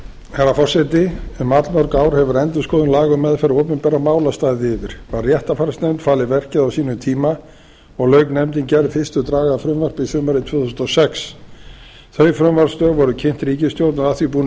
herra forseti um allmörg ár hefur endurskoðun laga um meðferð opinberra mála staðið yfir var réttarfarsnefnd falið verkið á sínum tíma og lauk nefndin gerð fyrstu draga frumvarpsins sumarið tvö þúsund og sex þau frumvarpsdrög voru kynnt ríkisstjórn og að því búnu